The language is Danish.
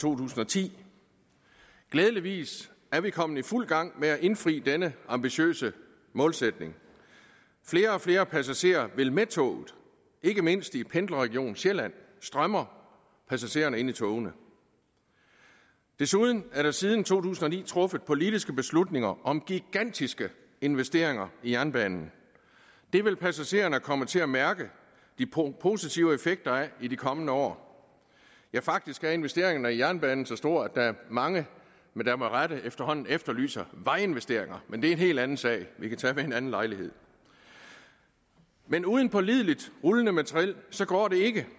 tusind og ti glædeligvis er vi kommet i fuld gang med at indfri denne ambitiøse målsætning flere og flere passagerer vil med toget ikke mindst i pendlerregionen sjælland strømmer passagerne ind i togene desuden er der siden to tusind og ni truffet politiske beslutninger om gigantiske investeringer i jernbanen det vil passagererne komme til at mærke de positive effekter af i de kommende år ja faktisk er investeringerne i jernbanen så store at der er mange der med rette efterhånden efterlyser vejinvesteringer men det er en helt anden sag vi kan tage ved en anden lejlighed men uden pålideligt rullende materiel går det ikke